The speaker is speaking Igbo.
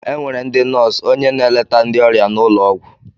Enwere ndị nóósu, ónyé na-eleta ndị ọrịa n' ụlọ ọgwụ.